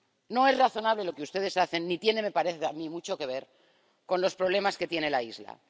No es razonable lo que ustedes hacen, ni tiene —me parece a mí— mucho que ver con los problemas que tiene la isla.